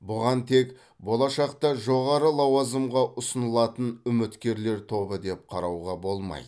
бұған тек болашақта жоғары лауазымға ұсынылатын үміткерлер тобы деп қарауға болмайды